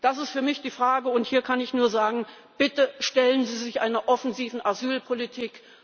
Das ist für mich die Frage, und hier kann ich nur sagen Bitte stellen Sie sich einer offensiven Asylpolitik!